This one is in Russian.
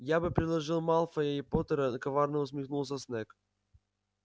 я бы предложил малфоя и поттера коварно усмехнулся снегг